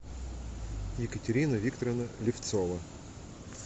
екатерина викторовна левцова